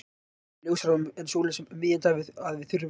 Það er ljósara en sólin um miðjan dag að við þurfum hjálp.